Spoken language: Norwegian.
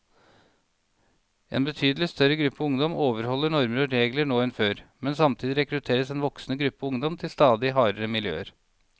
En betydelig større gruppe ungdom overholder normer og regler nå enn før, men samtidig rekrutteres en voksende gruppe ungdom til stadig hardere miljøer.